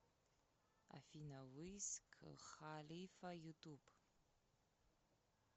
афина виз халифа ютуб